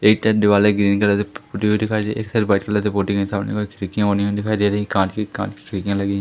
एक तरफ दीवाले ग्रीन कलर पुती हुई दिखाई दे रही है एक तरफ व्हाईट कलर से पुती हुई सामने की तरफ खिड़कियां ऊनी-ऊनी दिखाई दे रही है कांच की कांच की खिड़कियां लगी --